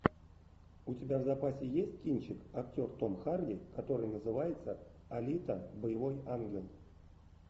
у тебя в запасе есть кинчик актер том харди который называется алита боевой ангел